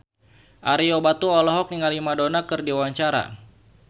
Ario Batu olohok ningali Madonna keur diwawancara